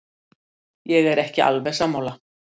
Ég er ekki alveg sammála.